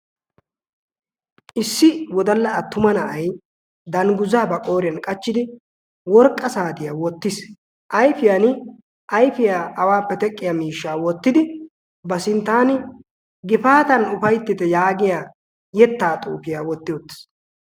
issi wodalla attuma na'ay danguza ba qooriyan wotiis, ayfiyani ayfiya awaappe teqqiya miishaa wotidi ba sintaani gifaatan ufayttitte giya xuufiya wotti uttiis.